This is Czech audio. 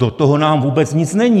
Do toho nám vůbec nic není!